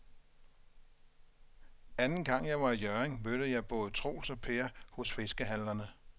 Anden gang jeg var i Hjørring, mødte jeg både Troels og Per hos fiskehandlerne.